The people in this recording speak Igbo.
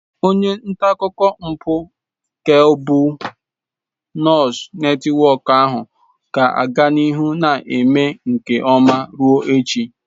Onye nta akụkọ mpụ Kebụl Nuus Netiwọk ahụ ga-aga n'ihu na-eme nke ọma ruo echi.